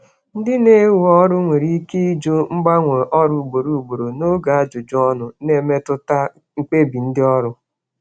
Ndị na-ewe mmadụ n'ọrụ nwere ike ịjụ ajụjụ banyere ịgbanwe ọrụ ugboro ugboro n'oge ajụjụ ọnụ, na-emetụta mkpebi n'ịwere mmadụ.